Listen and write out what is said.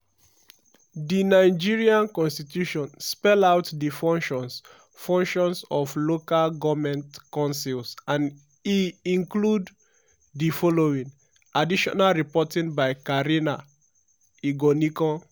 di nigerian constitution spell out di functions functions of local goment councils and e include di following; additional reporting by karina igonikon.